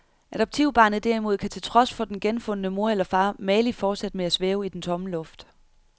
Adoptivbarnet derimod kan til trods for den genfundne mor eller far mageligt fortsætte med at svæve i den tomme luft.